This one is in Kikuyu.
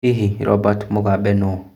Hihi Robert Mugabe nũ?